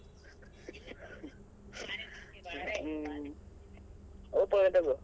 Oppo ನೇ ತಗೋ.